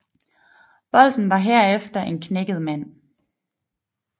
Bolten var herefter en knækket mand